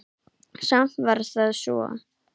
Samt var það svo.